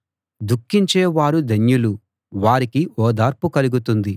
దుఃఖించే వారు ధన్యులు వారికి ఓదార్పు కలుగుతుంది